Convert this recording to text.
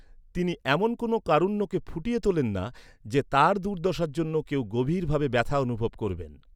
তিনি এমন কোনও কারুণ্যকে ফুটিয়ে তোলেন না যে, তাঁর দুর্দশার জন্য কেউ গভীর ভাবে ব্যথা অনুভব করবেন।